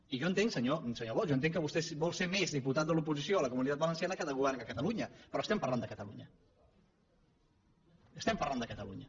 i jo entenc senyor bosch que vostè vol ser més diputat de l’oposició a la comunitat valenciana que de govern a catalunya però estem parlant de catalunya estem parlant de catalunya